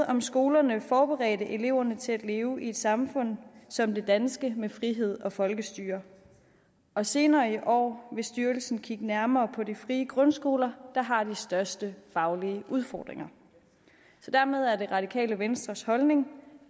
om skolerne har forberedt eleverne til at leve i et samfund som det danske med frihed og folkestyre og senere i år vil styrelsen kigge nærmere på de frie grundskoler der har de største faglige udfordringer så dermed er det radikale venstres holdning